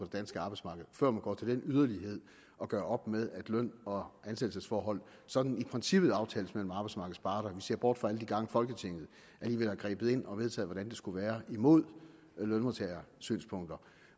danske arbejdsmarked før man går til den yderlighed at gøre op med at løn og ansættelsesforhold sådan i princippet aftales mellem arbejdsmarkedets parter vi ser bort fra alle de gange folketinget alligevel har grebet ind og vedtaget hvordan det skulle være imod lønmodtagersynspunkter